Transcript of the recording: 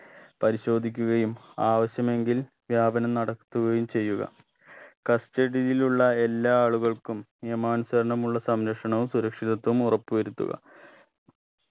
പരിശോധിക്കുകയും ആവശ്യമെങ്കിൽ വ്യാപനം നടത്തുകയും ചെയ്യുക custody യിലുള്ള എല്ലാ ആളുകൾക്കും നിയമാനുസരണമുള്ള സംരക്ഷണവും സുരക്ഷിതത്വവും ഉറപ്പു വരുത്തുക